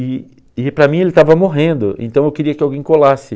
E e para mim ele estava morrendo, então eu queria que alguém colasse.